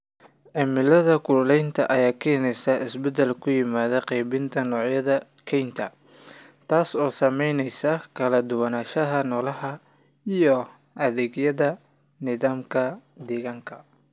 Cimilada kululaynta ayaa keenaysa isbeddel ku yimaada qaybinta noocyada kaynta, taas oo saamaynaysa kala duwanaanshaha noolaha iyo adeegyada nidaamka deegaanka.